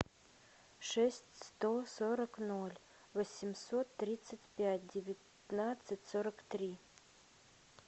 шесть сто сорок ноль восемьсот тридцать пять девятнадцать сорок три